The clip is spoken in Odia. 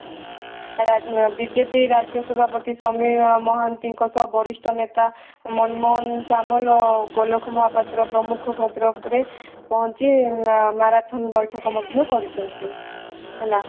ବିଜେପି ରାଜ୍ୟ ସଭାପତି ସମୀର ମହାନ୍ତିଙ୍କ ସହ ବରିଷ୍ଠ ନେତା ମନମୋହନ ସାମଲ ଗୋଲାଖ ମହାପାତ୍ର ପ୍ରମୁଖ ଭଦ୍ରକରେ ପହଞ୍ଚି ମାରାଥନ ବୈଠକ ମଧ୍ୟ କରିଛନ୍ତି ହେଲା